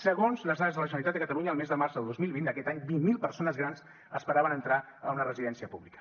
segons les dades de la generalitat de catalunya el mes de març del dos mil vint d’aquest any vint mil persones grans esperaven entrar a una residència pública